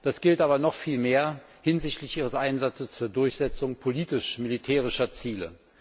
Das gilt aber noch viel mehr hinsichtlich ihres Einsatzes zur Durchsetzung politisch militärischer Ziele.